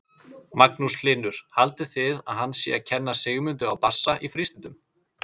Magnús Hlynur: Haldið þið að hann sé að kenna Sigmundi á bassa í frístundum?